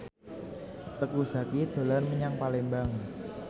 Teuku Zacky dolan menyang Palembang